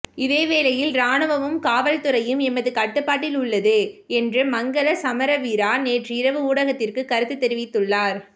இதே வேளையில் இராணுவமும் காவல்துறையும் எமது கட்டுப்பாட்டில் உள்ளது என்று மங்கள சமரவீரா நேற்றிரவு ஊடகத்திர்க்ற்கு கருத்து தெரிவித்துள்ளார்